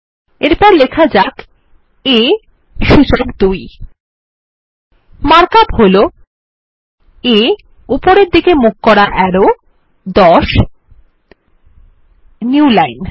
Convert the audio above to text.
এরপর লেখা যাক a সূচক ২ মার্ক আপ হল a উপরের দিকে মুখ করা অ্যারো ১০ নিউ লাইন